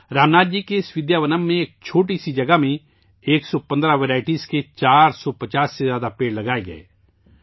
رام ناتھ جی کے اس 'ودیاونم' میں ایک چھوٹی سی جگہ میں 115 اقسام کے 450 سے زیادہ درخت لگائے گئے